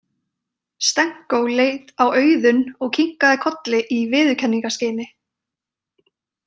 Stenko leit á Auðun og kinkaði kolli í viðurkenningarskyni.